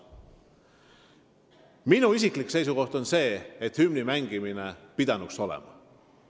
Minu isiklik seisukoht on see, et hümni pidanuks mängima.